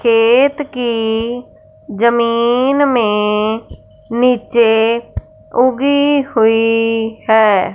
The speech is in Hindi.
खेत की जमीन में नीचे उगी हुई है।